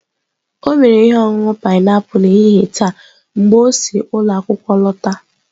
O mere ihe ọṅụṅụ painiapulu n'ehihie taa mgbe o si ụlọ akwụkwọ lọta.